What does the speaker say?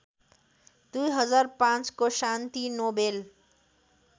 २००५ को शान्ति नोबेल